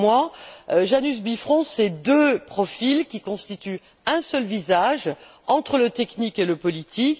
Pour moi, le Janus Bifrons c'est deux profils qui constituent un seul visage, entre le technique et le politique.